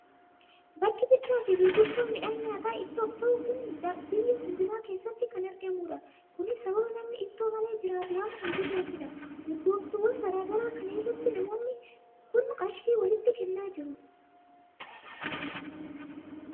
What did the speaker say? Bakki bittaa fi gurgurtaa midhaan nyaata ittoof ta'uu kun biyya hundumaa keessatti kan argamudha. Kunis sababa namni ittoo malee jiraatu waan hin jirreefidha. Urgooftuuwwan garaa garaa kana irratti namoonni kun qarshii walitti kennaa jiru.